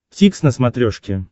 дтикс на смотрешке